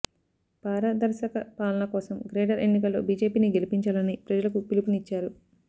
పారదర్శక పాలన కోసం గ్రేటర్ ఎన్నికల్లో బీజేపీని గెలిపించాలని ప్రజలకు పిలుపునిచ్చారు